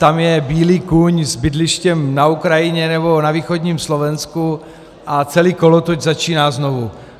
Tam je bílý kůň s bydlištěm na Ukrajině nebo na východním Slovensku, a celý kolotoč začíná znovu.